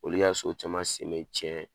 Olu y'a so caman sen mɛ cɛn